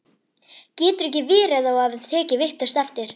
Getur ekki verið að þú hafir tekið vitlaust eftir?